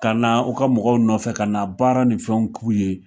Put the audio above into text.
Ka na u ka mɔgɔw nɔfɛ ka na baara ni fɛnw k'u ye